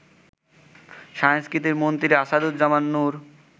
সংস্কৃতি মন্ত্রী আসাদুজ্জামান নূর